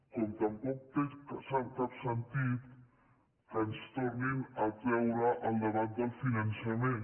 com tampoc té cap sentit que ens tornin a treure el debat del finançament